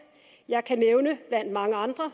jeg kan blandt mange andre